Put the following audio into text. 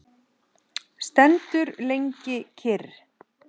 Stendur lengi kyrr.